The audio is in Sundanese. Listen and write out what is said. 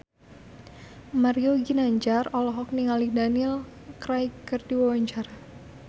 Mario Ginanjar olohok ningali Daniel Craig keur diwawancara